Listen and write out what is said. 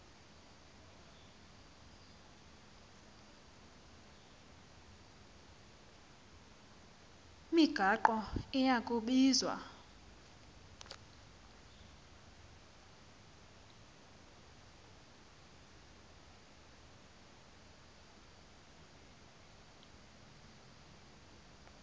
migaqo iya kubizwa